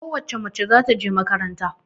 Ko wace mace za ta je makaranta.